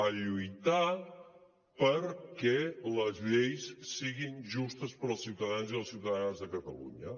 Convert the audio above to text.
a lluitar perquè les lleis siguin justes per als ciutadans i les ciutadanes de catalunya